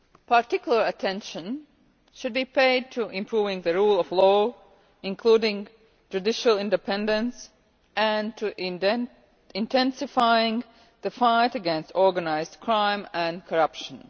Particular attention should be paid to improving the rule of law, including judicial independence, and to intensifying the fight against organised crime and corruption.